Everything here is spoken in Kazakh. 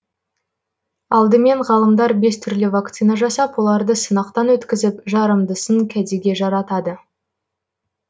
алдымен ғалымдар бес түрлі вакцина жасап оларды сынақтан өткізіп жарамдысын кәдеге жаратады